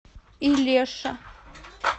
илеша